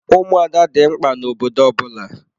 Ụmụada dị mkpa na obodo ọbụla.